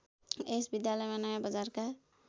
यस विद्यालयमा नयाँबजारका